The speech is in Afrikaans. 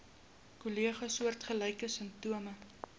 kollegas soortgelyke simptome